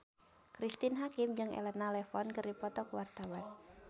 Cristine Hakim jeung Elena Levon keur dipoto ku wartawan